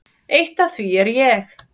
Eitt af því er ég.